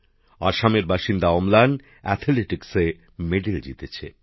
আসামের অম্লান অ্যাথলেটিক্সে পদক জিতেছেন